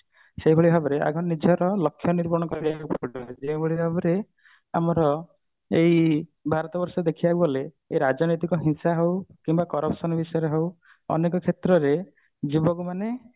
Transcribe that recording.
ସେଇଭଳି ଭାବରେ ଆଗେ ନିଜର ଲକ୍ଷ୍ୟ ଯେଉଁଭଳି ଭାବରେ ଆମର ଏଇ ଭାରତ ବର୍ଷ ଦେଖିବାକୁ ଗଲେ ରାଜନୈତିକ ହିଂସା ହଉ କିମ୍ବା corruption ବିଷୟରେ ହଉ ଅନେକ କ୍ଷେତ୍ରରେ ଯୁବକ ମାନେ